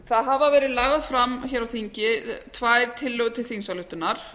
það gefa verið algjör fram hér á þingi tvær tillögur til þingsályktunar